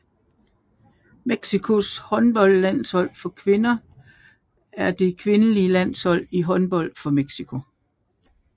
Mexicos håndboldlandshold for kvinder er det kvindelige landshold i håndbold for Mexico